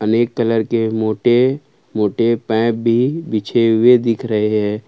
अनेक कलर के मोटे मोटे पाइप भी बिछे हुए दिख रहे है।